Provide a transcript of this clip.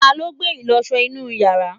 taló gbé ìlọsọ inú yàrá?